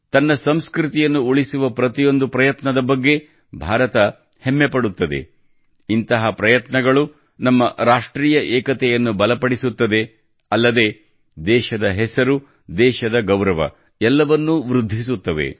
ತನ್ನ ಸಂಸ್ಕೃತಿಯನ್ನು ಉಳಿಸುವ ಪ್ರತಿಯೊಂದು ಪ್ರಯತ್ನದ ಬಗ್ಗೆ ಭಾರತ ಹೆಮ್ಮೆಪಡುತ್ತದೆ ಇಂಥ ಪ್ರಯತ್ನಗಳು ನಮ್ಮ ರಾಷ್ಟ್ರೀಯ ಏಕತೆಯನ್ನು ಬಲಪಡಿಸುತ್ತದೆ ಅಲ್ಲದೆ ದೇಶದ ಹೆಸರು ದೇಶದ ಗೌರವ ಎಲ್ಲವನ್ನೂ ವೃದ್ಧಿಸುತ್ತವೆ